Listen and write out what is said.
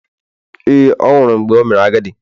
Ee, ọ nwụrụ mgbe o mere agadi.